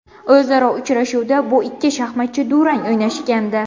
O‘zaro uchrashuvda bu ikki shaxmatchi durang o‘ynashgandi.